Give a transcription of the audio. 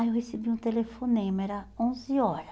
Aí eu recebi um telefonema, era onze horas.